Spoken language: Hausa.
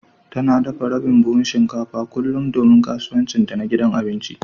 Tana dafa rabin buhun shinkafa kullum don kasuwancinta na gidan abinci